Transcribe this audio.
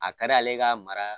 A ka d'ale ka mara